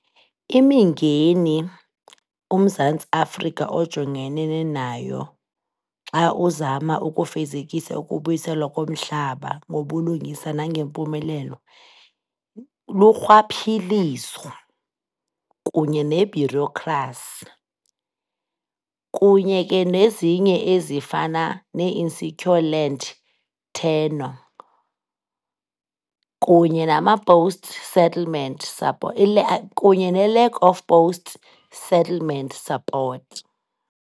Imingeni uMzantsi Afrika ojongene nayo xa uzama ukufezekisa ukubuyiselwa komhlaba ngobulungisa nangempumelelo, lurhwaphilizo kunye ne-bureaucracy kunye ke nezinye ezifana nee-insecure land tenure kunye nama-post settlement , kunye ne-lack of post-settlement support.